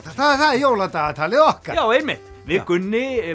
það er jóladagatalið okkar já einmitt við Gunni